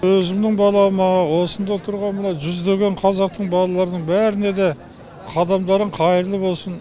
өзімнің балама осында тұрған мына жүздеген қазақтың балаларының бәріне де қадамдарың қайырлы болсын